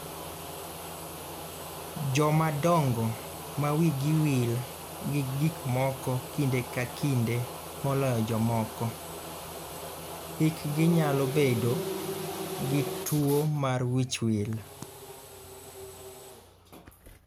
Jomadongo ma wigi wil gi gik moko kinde ka kinde moloyo jomoko, hikgi nyalo bedo gi tuwo mar wichwil.